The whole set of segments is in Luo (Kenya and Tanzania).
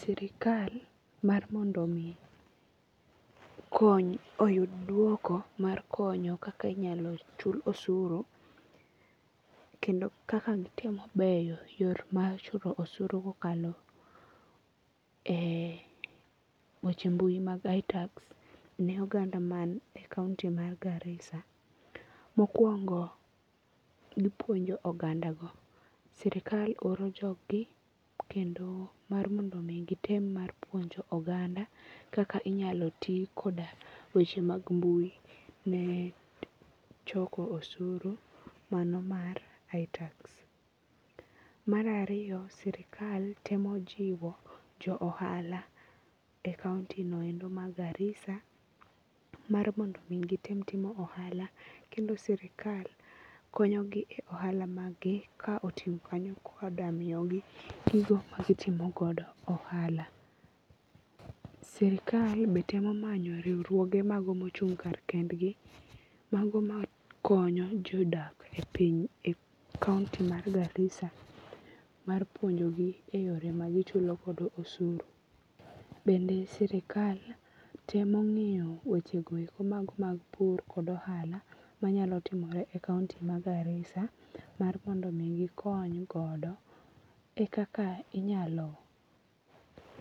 Sirikal mar mondo mi kony oyud duoko mar konyo kaka inyalo chul osuru kendo kaka gitemo bero yor mar chulo osuru kokalo e weche mbui mag iTax ne oganda man e kaunti mar Garissa: Mokuongo gipuonjo oganda go. Sirikal oro jog gi kendo mar mondo mi gitem mar puonjo oganda kaka inyalo ti koda weche mag mbui ne choko osuru mano mar iTax. Mar ariyo, sirikal temo jiwo jo ohala e kaunti no endo ma Garissa mar mondo mi gitem timo ohala. Kendo sirikal konyo gi e ohala mag gi ka oting'o kanyo koda miyogi gigo ma gitimogodo ohala. Sirikal be temo manyo riwruoge magombo chung' kar kend gi mago makonyo jodak e kaunti mar Garissa mar puonjogi e yore magichulogodo usuru. Bende sirikal temo ngiyo weche go eko mago mag pur kod ohala manyalo timore e kaunti ma garissa mar mondo mi gikony godo e kaka inyalo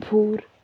pur.